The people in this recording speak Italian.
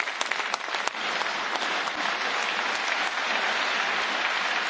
L'applauso della plenaria non ha bisogno di ulteriori commenti.